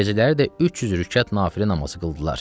Gecələri də 300 rükət nafilə namazı qıldılar.